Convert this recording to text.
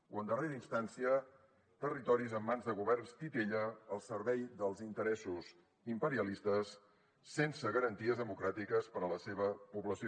o en darrera instància territoris en mans de governs titella al servei dels interessos imperialistes sense garanties democràtiques per a la seva població